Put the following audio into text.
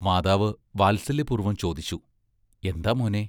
മാതാവ് വാത്സല്യപൂർവ്വം ചോദിച്ചു: എന്താ മോനേ?